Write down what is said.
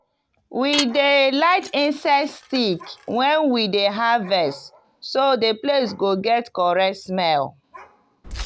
we dey light incense stick when we dey harvest so the place go get correct smell.